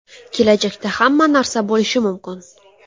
Kelajakda hamma narsa bo‘lishi mumkin.